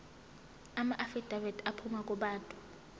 amaafidavithi aphuma kubantu